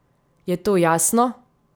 Je to jasno?